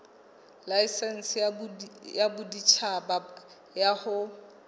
laesense ya boditjhaba ya ho